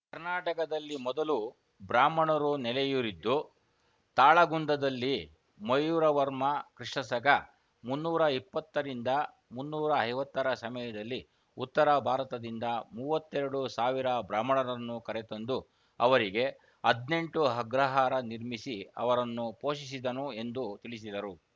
ಕರ್ನಾಟಕದಲ್ಲಿ ಮೊದಲು ಬ್ರಾಹ್ಮಣರು ನೆಲೆಯೂರಿದ್ದು ತಾಳಗುಂದದಲ್ಲಿ ಮಯೂರ ವರ್ಮ ಕ್ರಿಸ್ತ ಶಕ ಮುನ್ನೂರ ಇಪ್ಪತ್ತರಿಂದ ಮುನ್ನೂರ ಐವತ್ತರ ಸಮಯದಲ್ಲಿ ಉತ್ತರ ಭಾರತದಿಂದ ಮೂವತ್ತೆರಡು ಸಾವಿರ ಬ್ರಾಹ್ಮಣರನ್ನು ಕರೆತಂದು ಅವರಿಗೆ ಹದ್ನೆಂಟು ಅಗ್ರಹಾರ ನಿರ್ಮಿಸಿ ಅವರನ್ನು ಪೋಷಿಸಿದನು ಎಂದು ತಿಳಿಸಿದರು